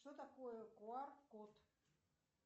что такое куар код